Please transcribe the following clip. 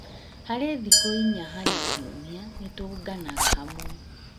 Harĩ thikũ inya harĩ kiumia nĩtũũnganaga hamwe